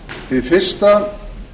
hið fyrsta